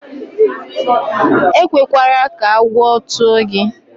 E kwekwara ka agwọ tụọ gị.